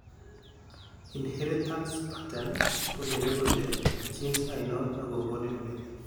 inheritance pattern kogere kole gene ainon negokonin mioni.